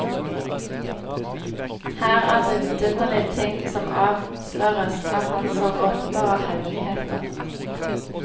Her er det vidunderlige ting som avsløres av han som åpenbarer hemmeligheter.